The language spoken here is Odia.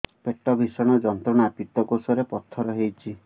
ପେଟ ଭୀଷଣ ଯନ୍ତ୍ରଣା ପିତକୋଷ ରେ ପଥର ହେଇଚି